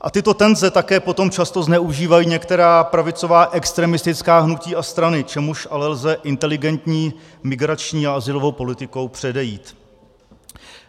A tyto tenze také potom často zneužívají některá pravicová extremistická hnutí a strany, čemuž ale lze inteligentní migrační a azylovou politikou předejít.